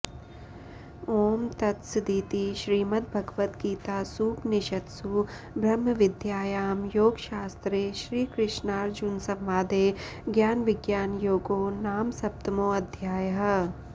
ॐ तत्सदिति श्रीमद्भगवद्गीतासूपनिषत्सु ब्रह्मविद्यायां योगशास्त्रे श्रीकृष्नार्जुनसंवादे ज्ञानविज्ञानयोगो नाम सप्तमोऽध्यायः